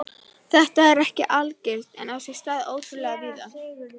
Þetta er ekki algilt en á sér stað ótrúlega víða.